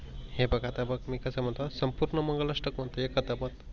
हे बग आता बग मी कशा म्हणतो संपूर्ण मंगल आष्टक म्हणतो एकादमात.